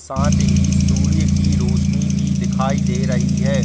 साथ ही सूर्य की रोशनी भी दिखाई दे रही है।